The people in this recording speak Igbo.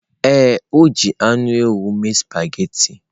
Ee, o ji anụ ewu mee spaghetị.